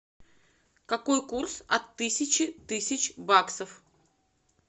какой курс от тысячи тысяч баксов